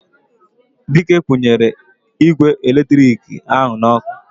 Dike kwunyere igwe eletiriki ahu n'oku